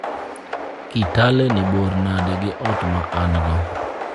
Kitale ni bor nade gi ot ma an-go?